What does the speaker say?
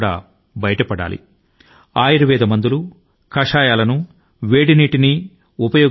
ఆరోగ్యం గా ఉండడానికి ఆయుర్వేద మందుల ను మూలిక కషాయాలను వేడి నీటి ని తీసుకోవాలి